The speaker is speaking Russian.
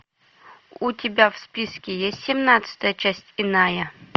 у тебя в списке есть семнадцатая часть иная